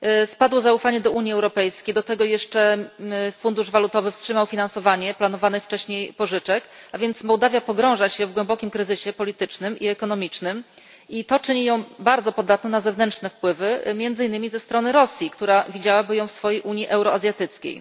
Spadło zaufanie do Unii Europejskiej, do tego jeszcze Fundusz Walutowy wstrzymał finansowanie planowanych wcześniej pożyczek, a więc Mołdawia pogrąża się w głębokim kryzysie politycznym i ekonomicznym, i to czyni ją bardzo podatną na zewnętrzne wpływy między innymi ze strony Rosji, która widziałaby ją w swojej Unii euroazjatyckiej.